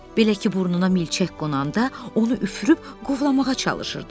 Belə ki, burnuna milçək qonanda onu üfürüb qovlamağa çalışırdı.